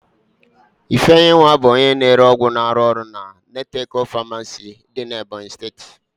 Ifeyinwa bụ onye na-ere ọgwụ na-arụ ọrụ na Nateco famaasi dị n'Ebonyi.